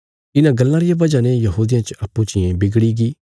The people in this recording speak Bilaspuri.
इन्हां गल्लां रिया बजह ने यहूदियां च अप्पूँ चियें बिगड़ीगी